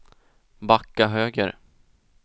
backa höger